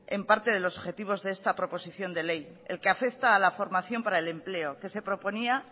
en parte de los objetivos de esta proposición de ley el que afecta a la formación para el empleo que se proponía